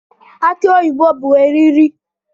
Aki oyibo bụ eriri